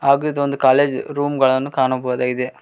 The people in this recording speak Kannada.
ಹಾಗೂ ಇದೊಂದು ಕಾಲೇಜ್ ರೂಮ್ ಗಳನು ಕಾಣಬಹುದಾಗಿದೆ.